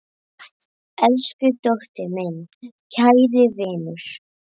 Elsku Tóti, minn kæri vinur.